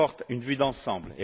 une vue d'ensemble.